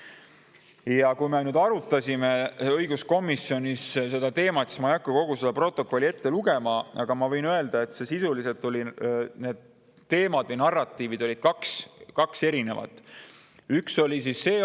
Ja kui me arutasime õiguskomisjonis seda teemat – ma ei hakka kogu protokolli ette lugema, aga ma võin sellest –, siis sisuliselt oli meil kaks erinevat teemat või narratiivi.